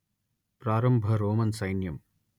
ప్రారంభ రోమన్ సైన్యం